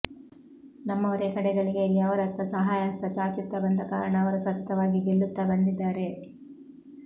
ನಮ್ಮವರೇ ಕಡೆ ಗಳಿಗೆಯಲ್ಲಿ ಅವರತ್ತ ಸಹಾಯಹಸ್ತ ಚಾಚುತ್ತಾ ಬಂದ ಕಾರಣ ಅವರು ಸತತವಾಗಿ ಗೆಲ್ಲುತ್ತಾ ಬಂದಿದ್ದಾರೆ